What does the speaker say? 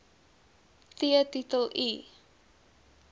t titel i